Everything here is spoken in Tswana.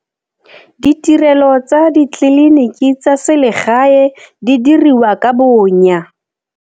Ditirelo tsa ditleliniki tsa selegae di diriwa ka bonya.